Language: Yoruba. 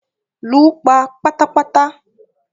Lù pa pátàpàtà!